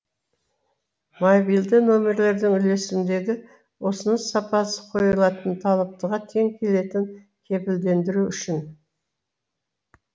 мобилді нөмірлердің үлесімдегі ұсыныс сапасы қойылатын талаптыға тең келетін кепілдендіру үшін